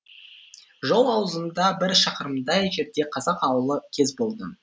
жол аузында бір шақырымдай жерде қазақ аулы кез болды